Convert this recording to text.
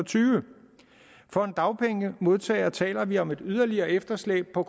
tyve for en dagpengemodtager taler vi om et yderligere efterslæb på